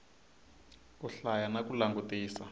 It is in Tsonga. ku hlaya na ku langutisa